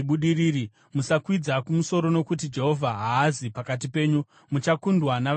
Musakwidza kumusoro nokuti Jehovha haazi pakati penyu. Muchakundwa navavengi venyu,